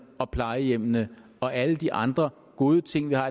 og plejehjemmene og alle de andre gode ting vi har